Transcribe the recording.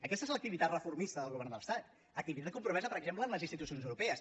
aquesta és l’activitat reformista del govern de l’estat activitat compromesa per exemple amb les institucions europees